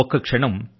ఒక్క క్షణం